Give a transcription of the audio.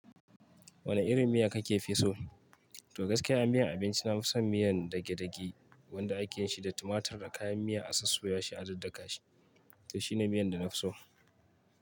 Wane irin miya kake fi so? To gaskiya a miyan abinci na fi son miyan dagedage wanda ake yin shi da tumatur da kayan miya, a sossoya shi a daddaka shi. To shine miyan da na fi so.